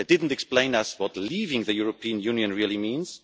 They did not explain to us what leaving the European Union really means.